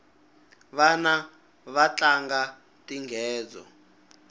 vana vatlanga tinghedzo